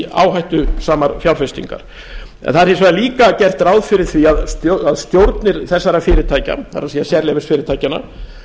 áhættusamar fjárfestingar það er hins vegar líka gert ráð fyrir að stjórnir þessara fyrirtækja það er sérleyfisfyrirtækjanna